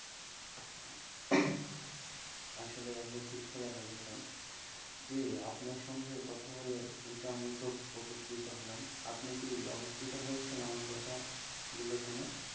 আসলে আপনি ঠিক কথা বলেছেন, জি আপনার সাথে কথা বলে আমি কিন্তু খুব উপকৃত হলাম, আপনি কি অপোকৃত হয়েছেন আমার কথা গুলো শুনে?